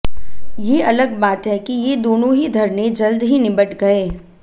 ये अलग बात है कि ये दोनों ही धरने जल्द ही निबट गए